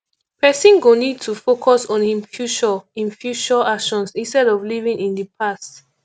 person go need to focus on im future im future actions instead of living in the past